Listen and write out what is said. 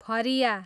फरिया